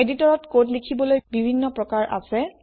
এদিটৰত কোড লিখিবলৈ বিভিন্ন প্ৰকাৰ আছে